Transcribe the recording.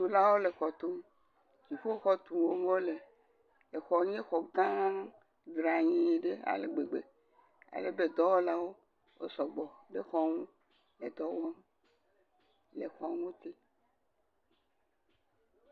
Xɔtulawo le xɔ tum. Dziƒoxɔ tum wole, exɔ nye xɔgã dranyiii ɖe ale gbegbe alebe dɔwɔlawo wo sɔgbɔ ɖe xɔ ŋu le dɔ wɔm le xɔ ŋuti.